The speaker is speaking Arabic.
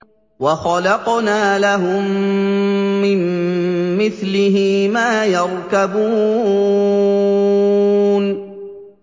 وَخَلَقْنَا لَهُم مِّن مِّثْلِهِ مَا يَرْكَبُونَ